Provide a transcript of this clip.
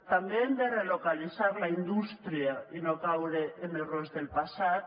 també hem de relocalitzar la indústria i no caure en errors del passat